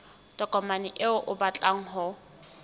tokomane eo o batlang ho